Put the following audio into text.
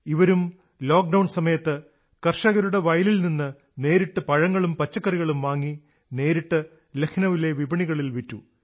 ഇവരും ലോക്ഡൌൺ സമയത്ത് കർഷകരുടെ വയലിൽ നിന്ന് നേരിട്ട് പഴങ്ങളും പച്ചക്കറികളും വാങ്ങി നേരിട്ട് ലഖ്നൌവിലെ വിപണികളിൽ വിറ്റു